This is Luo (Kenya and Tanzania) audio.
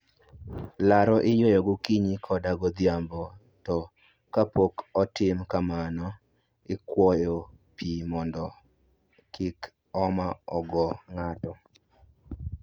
Laro iyweyo gokinyi koda godhiambo, to kapok otim kamano, ikwoyo pi mondi mondo kik homa ogo ng'ato